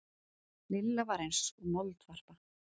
Lilla var eins og moldvarpa.